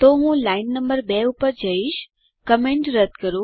તો હું line number 2 પર જઈશ કમેન્ટ રદ્દ કરો